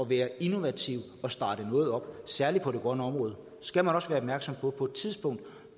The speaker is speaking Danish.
være innovativ og starte noget op og særlig på det grønne område skal man også være opmærksom på at det på et tidspunkt